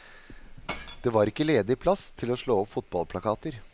Det var ikke ledig plass til å slå opp fotballplakater.